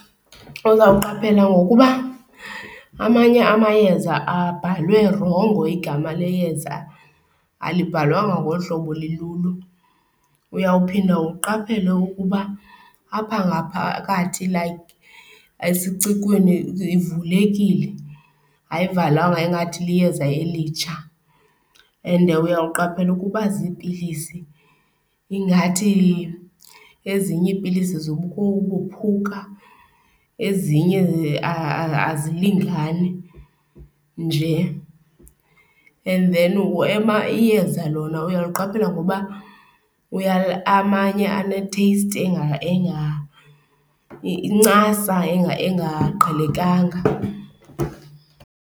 Uzawuqaphela ngokuba amanye amayeza abhalwe rongo, igama leyeza alibhalwanga ngolu hlobo lilulo. Uyawuphinda uqaphele ukuba apha ngaphakathi like esicikweni livulekile, ayivalwanga ingathi liyeza elitsha. And uyawuqaphela ukuba ziipilisi ingathi ezinye iipilisi zikubukuphuka, ezinye azilingani nje. And then iyeza lona uyawuliqaphela ngoba amanye anetheyisti , incasa engaqhelekanga.